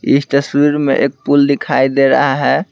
इस तस्वीर में एक पुल दिखाई दे रहा है।